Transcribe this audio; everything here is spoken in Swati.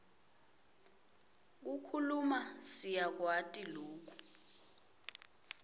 kukhuluma siyakwati loku